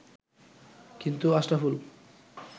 কিন্তু আশরাফুল